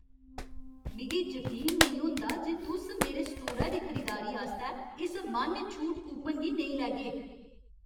मिगी जकीन नेईं होंदा जे तुस मेरे स्टोरै दी खरीदारी आस्तै इस मान्य छूट कूपन गी नेईं लैगे।